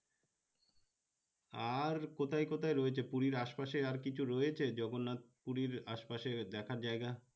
আর কোথায় কোথায় রয়েছে পুরির আশ পাশে আর কিছু রয়েছে জগন্নাথ পুরির আশপাশের দেখার জায়গা